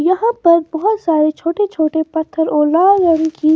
यहां पर बहुत सारे छोटे छोटे पत्थर और लाल रंग की --